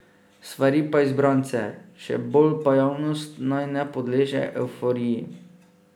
Svari pa izbrance, še bolj pa javnost, naj ne podleže evforiji.